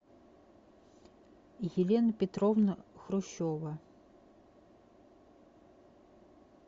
елена петровна хрущева